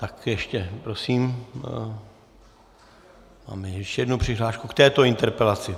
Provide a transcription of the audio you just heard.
Tak ještě prosím, máme ještě jednu přihlášku k této interpelaci.